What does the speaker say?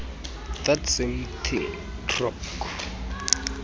that something cracks